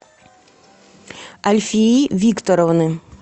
альфии викторовны